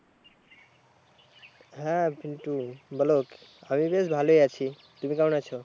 হ্যাঁ Pintu বলো আমি বেশ ভালোই আছি তুমি কেমন আছো?